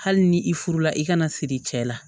Hali ni i furula i kana siri cɛ la